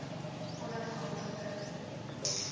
onafhanklike